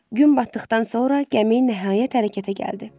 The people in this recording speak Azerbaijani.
Gün batdıqdan sonra gəmi nəhayət hərəkətə gəldi.